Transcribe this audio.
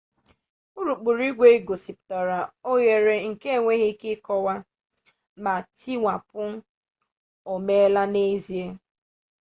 urukpu igwe gosipụtara ohere nke a na-enweghị ike ịkọwa ma ntiwapụ o meela n'ezie